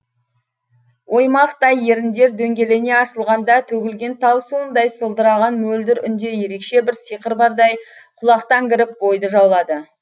оймақтай еріндер дөңгелене ашылғанда төгілген тау суындай сылдыраған мөлдір үнде ерекше бір сиқыр бардай құлақтан кіріп бойды жаулады